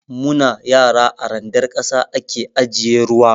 Mu na yara, a randar ƙasa a ke ajiye ruwa.